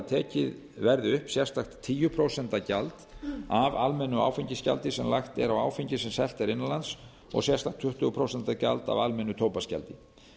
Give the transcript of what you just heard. tekið verði upp sérstakt tíu prósent gjald af almennu áfengisgjaldi sem lagt er á áfengi sem selt er innan lands og sérstakt tuttugu prósent gjald af almennu tóbaksgjaldi